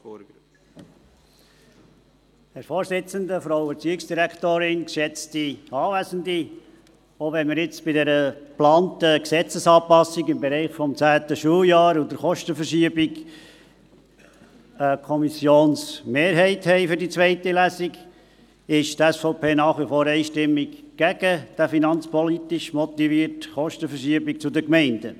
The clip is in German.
Selbst wenn wir jetzt bei dieser geplanten Gesetzesanpassung im Bereich des zehnten Schuljahrs und im Bereich der Kostenverschiebung eine Kommissionsmehrheit für die zweite Lesung haben, ist die SVP nach wie vor einstimmig gegen diese finanzpolitisch motivierte Kostenverschiebung zu den Gemeinden.